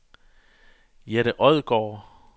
Jette Odgaard